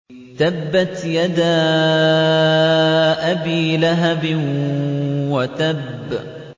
تَبَّتْ يَدَا أَبِي لَهَبٍ وَتَبَّ